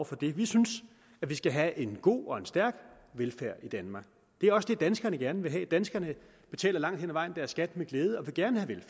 for det vi synes at vi skal have en god og en stærk velfærd i danmark det er også det danskerne gerne vil have danskerne betaler langt hen ad vejen deres skat med glæde og vil gerne have